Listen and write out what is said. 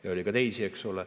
Ja oli ka teisi.